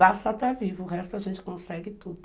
Basta estar vivo, o resto a gente consegue tudo.